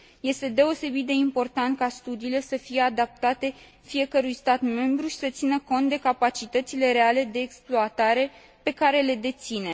Este deosebit de important ca studiile să fie adaptate fiecărui stat membru și să țină cont de capacitățile reale de exploatare pe care la deține.